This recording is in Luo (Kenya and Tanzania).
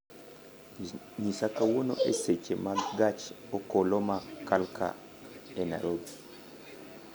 nyisa kawuono e seche mag gach okoloma Kalka e Nairobi